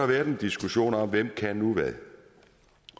været en diskussion om hvem kan hvad